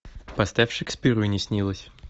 поставь шекспиру и не снилось